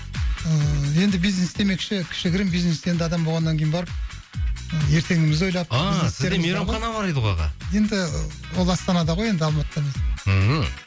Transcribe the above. ыыы енді бизнес демекші кішігірім бизнесті енді адам болғаннан кейін барып ертеңімізді ойлап ааа сізде мейрамхана бар еді ғой аға енді ол астанада ғой енді алматыда емес мхм